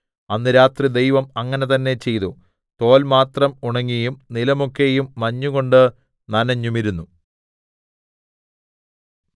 അന്ന് രാത്രി ദൈവം അങ്ങനെ തന്നെ ചെയ്തു തോൽ മാത്രം ഉണങ്ങിയും നിലമൊക്കെയും മഞ്ഞുകൊണ്ട് നനെഞ്ഞുമിരുന്നു